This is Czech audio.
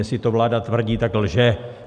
Jestli to vláda tvrdí, tak lže.